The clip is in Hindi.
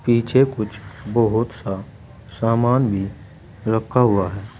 पीछे कुछ बहुत सा सामान भी रखा हुआ है।